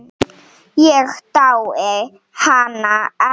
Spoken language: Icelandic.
Ég dái hana ekki.